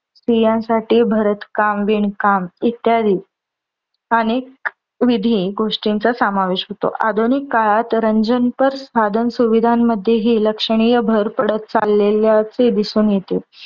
स्त्रीयानसाठी भरतकाम, विणकाम इत्यादी अनेक विधी गोष्टींचा समावेश होतो. आधुनिक काळात रंजनपर साधन सुविधामध्ये हि लक्ष्यनिय भर पडत चाललेले असे दिसून येते.